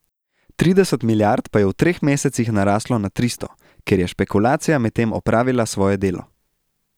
Trideset milijard pa je v treh mesecih naraslo na tristo, ker je špekulacija medtem opravila svoje delo.